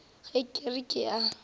ge ke re ke a